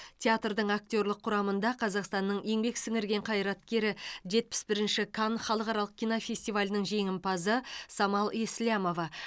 театрдың актерлік құрамында қазақстанның еңбек сіңірген қайраткері жетпіс бірінші канн халықаралық кинофестивалінің жеңімпазы самал еслямова